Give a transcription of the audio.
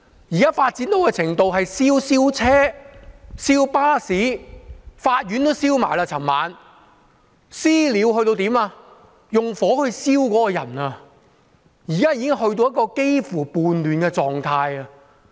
現時發展到的程度是燒車、燒巴士，昨晚連法院也被燒；"私了"到用火去燒別人，現時已經達到一個幾乎叛亂的狀態。